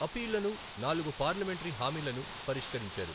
అప్పీళ్లను, నాలుగు పార్లమెంటరీ హామీలను పరిష్కరించారు.